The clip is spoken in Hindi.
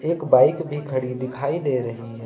एक बाइक भी खड़ी दिखाई दे रही है।